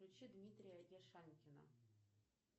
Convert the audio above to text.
включи дмитрия яшанькина